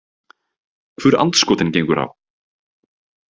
Hvur andskotinn gengur á?